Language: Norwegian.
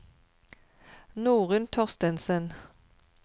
Norunn Thorstensen